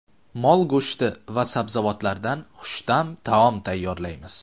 Mol go‘shti va sabzavotlardan xushta’m taom tayyorlaymiz.